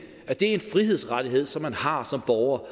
at det er en frihedsrettighed som man har som borger